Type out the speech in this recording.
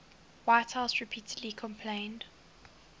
whitehouse repeatedly complained